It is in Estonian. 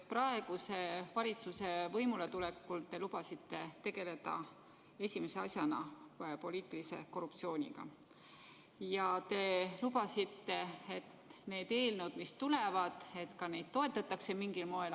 Praeguse valitsuse võimuletulekul te lubasite esimese asjana tegeleda poliitilise korruptsiooniga ja te lubasite, et neid eelnõusid, mis tulevad, toetatakse mingil moel.